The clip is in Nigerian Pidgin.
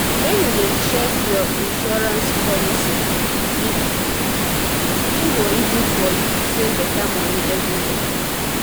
when you dey um check check your insurance policy e go easy for you to save better money every year